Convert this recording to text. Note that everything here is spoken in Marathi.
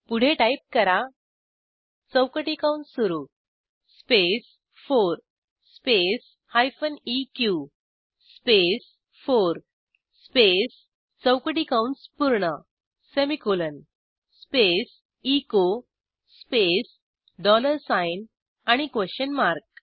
पुढे टाईप करा चौकटी कंस सुरू स्पेस 4 स्पेस हायफेन इक स्पेस 4 स्पेस चौकटी कंस पूर्ण semicolon space echo space dollar sign and a question mark